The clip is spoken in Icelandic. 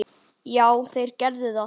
Já, þeir gerðu það.